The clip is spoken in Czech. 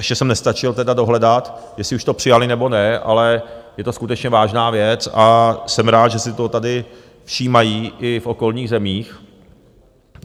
Ještě jsem nestačil teda dohledat, jestli už to přijali, nebo ne, ale je to skutečně vážná věc a jsem rád, že si toho tady všímají i v okolních zemích.